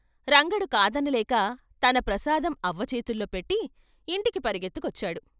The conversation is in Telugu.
రంగడు కాదనలేక తన ప్రసాదం అవ్వ చేతుల్లో పెట్టి ఇంటికి పరుగెత్తుకొచ్చాడు.